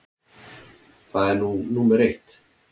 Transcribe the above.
Það er nú númer eitt.